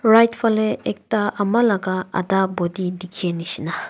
right falae ekta ama laka ada body dikhishina.